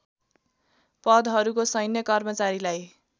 पदहरूको सैन्य कर्मचारीलाई